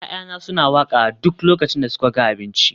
ya'yana suna waƙa a duk lokacin da suka ga abinci